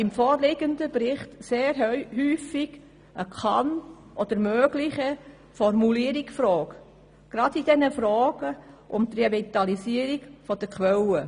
Im vorliegenden Bericht kommen sehr häufig Formulierungen mit «kann» oder «möglich» vor, gerade beim Thema Revitalisierung der Quellen.